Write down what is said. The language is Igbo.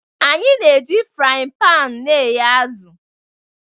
Anyị na-eji fry paani na-e ye azụ